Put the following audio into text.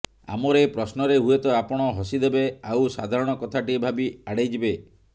ଆମର ଏ ପ୍ରଶ୍ନରେ ହୁଏତ ଆପଣ ହସିଦେବେ ଆଉ ସାଧାରଣ କଥାଟିଏ ଭାବି ଆଡ଼େଇ ଯିବେ